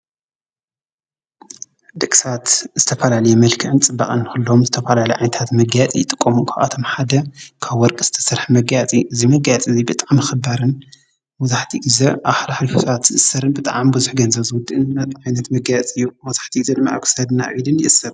ደቂ ሰባት ዝተፋላለየ መልክዕን ፅባቀን ንክህልዎም ዝተፈላለዩ ዓይነታት ምጋየፂ ይጥቀሙ ።ካብኣቶም ሓደ ካብ ወርቂ ዝተሰርሐ መጋየፂ እዩ። እዚ መጋየፂ እዚ ብጣዕሚ ክባርን መብዛሕቲኡ ግዘ ኣብ ሓልሓሊፉ ሰባት ዝእሰርን ብጣዕሚ ብዙሕ ገንዘብ ዝውድእን ዓይነት መጋየፂ እዩ ።መብዛሕቲኡ ግዘ ድማ ኣብ ክሳድን ኣብ ኢድን ይእሰር።